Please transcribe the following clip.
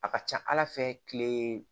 A ka ca ala fɛ kile